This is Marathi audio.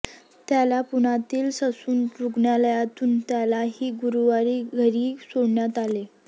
त्याला पुण्यातील ससून रुग्णालयातून त्यालाही गुरुवारी घरी सोडण्यात आले